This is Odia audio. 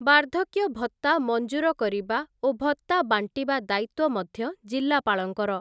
ବାର୍ଦ୍ଧକ୍ୟ ଭତ୍ତା ମଞ୍ଜୁର କରିବା ଓ ଭତ୍ତା ବାଣ୍ଟିବା ଦାୟିତ୍ଵ ମଧ୍ୟ ଜିଲ୍ଲାପାଳଙ୍କର ।